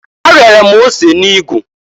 Ariara m ose n'igu.